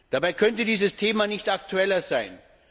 Dabei könnte dieses Thema nicht aktueller sein.